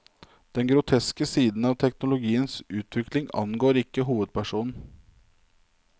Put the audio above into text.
Denne groteske siden av teknologiens utvikling angår ikke hovedpersonen.